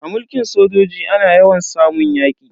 A mulkin sojoji ana yawan samun yaki.